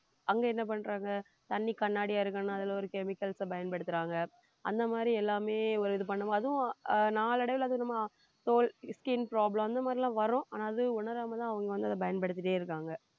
அங்க என்ன பண்றாங்க தண்ணி கண்ணாடியா இருக்கணும் அதுல ஒரு chemicals அ பயன்படுத்துறாங்க அந்த மாதிரி எல்லாமே ஒரு இது பண்ணும் போது அதுவும் ஆஹ் நாளடைவுல அது நம்ம தோல் skin problem அந்த மாதிரி எல்லாம் வரும் ஆனாஅது உணராமதான் அவங்க வந்து அதை பயன்படுத்திட்டே இருக்காங்க